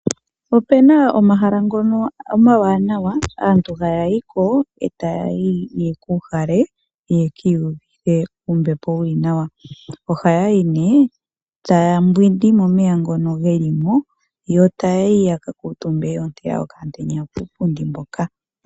Opuna omahala ngono omawanawa aantu haya yiko yekuuhale , yekiiyuvithe ombepo yili nawa . Ohaya yi etaya mbwindi momeya ngono geli mo , yo taya yi yaka kuutumbe yoontela okamutenya kuupundi.